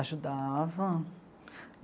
ajudava.